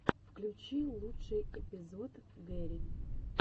включи лучший эпизод гэри